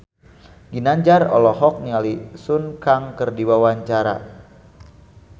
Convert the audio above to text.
Ginanjar olohok ningali Sun Kang keur diwawancara